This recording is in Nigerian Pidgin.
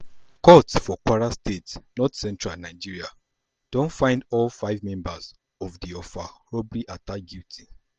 court for kwara state northcentral nigeria don find all five members of of di offa robbery attack guilty.